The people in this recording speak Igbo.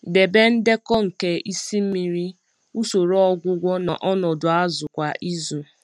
Debe ndekọ nke isi mmiri, usoro ọgwụgwọ na ọnọdụ azụ kwa izu.